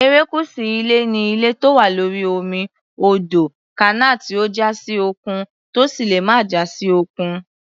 Erékùṣù ilẹ̀ ni ilẹ̀ tó wà lórí omi, odò, kànáà tí ó já sí òkun, tó sì lè má já sí òkun.